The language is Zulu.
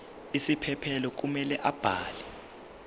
isiphephelo kumele abhale